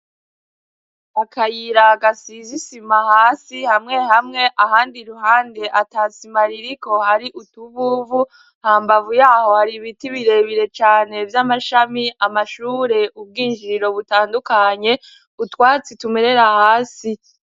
Akayira gasize isima hasi hamwe hamwe, ahandi iruhande atasima ririko hari utuvuvu. Hambavu yaho hari ibiti birebire cane vy'amashami, amashure, ubwinjiriro butandukanye, utwatsi tumerera hasi.